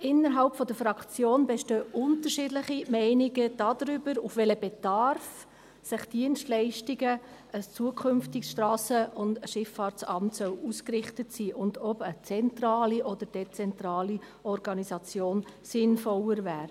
Innerhalb der Fraktion bestehen unterschiedliche Meinungen darüber, auf welchen Bedarf die Dienstleistungen eines zukünftigen SVSA ausgerichtet sein sollen und ob eine zentrale oder eine dezentrale Organisation sinnvoller wäre.